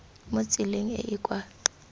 mo tseleng e e kwa